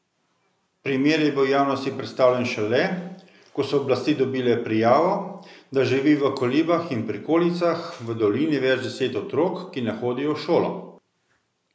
Primer je bil javnosti predstavljen šele, ko so oblasti dobile prijavo, da živi v kolibah in prikolicah v dolini več deset otrok, ki ne hodijo v šolo.